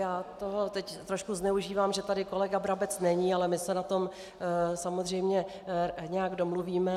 Já toho teď trošku zneužívám, že tady kolega Brabec není, ale my se na tom samozřejmě nějak domluvíme.